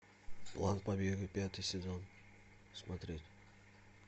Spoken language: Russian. план побега пятый сезон смотреть